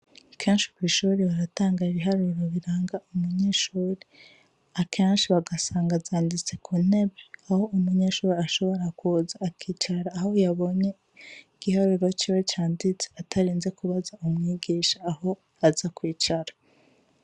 Kenshi kw'ishure baratanga ibiharuro biranga umunyeshuri. Akenshi bagasanga zanditse ku ntebe, aho umunyeshure ashobora kuza akicara aho yabonye igiharuro ciwe canditse, atarinze kubaza umwigisha aho aza kwicara.